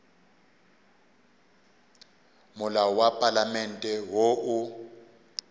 molao wa palamente wo o